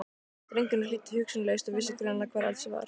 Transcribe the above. Drengurinn hlýddi hugsunarlaust og vissi greinilega hvar eldhúsið var.